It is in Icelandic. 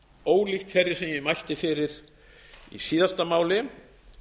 ólíkt þeirri sem ég mælti fyrir í síðasta máli